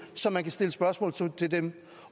så man kan stille spørgsmål til til dem